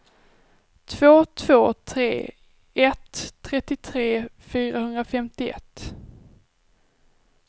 två två tre ett trettiotre fyrahundrafemtioett